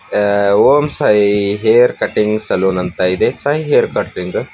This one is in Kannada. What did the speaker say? ಓಂ ಸಾಯಿ ಹೇರ್ ಕಟಿಂಗ್ ಸಲೂನ್ ಅಂತ ಇದೆ ಸಾಯಿ ಹೇರ್ ಕಟಿಂಗು--